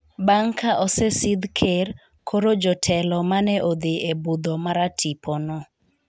bang' ka osesidh ker, koro jotelo mane odhi e budho maratipo no